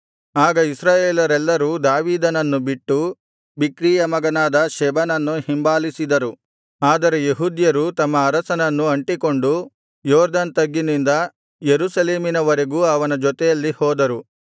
ಆಗ ಇಸ್ರಾಯೇಲರೆಲ್ಲರೂ ದಾವೀದನನ್ನು ಬಿಟ್ಟು ಬಿಕ್ರೀಯ ಮಗನಾದ ಶೆಬನನ್ನು ಹಿಂಬಾಲಿಸಿದರು ಆದರೆ ಯೆಹೂದ್ಯರು ತಮ್ಮ ಅರಸನನ್ನು ಅಂಟಿಕೊಂಡು ಯೊರ್ದನ್ ತಗ್ಗಿನಿಂದ ಯೆರೂಸಲೇಮಿನ ವರೆಗೂ ಅವನ ಜೊತೆಯಲ್ಲಿ ಹೋದರು